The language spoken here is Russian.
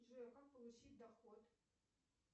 джой как получить доход